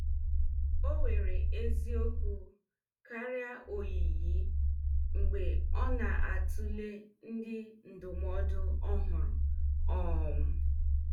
Ọ were eziokwu karịa oyiyi mgbe ọ na- atule ndị ndụmọdụ ọhụrụ. um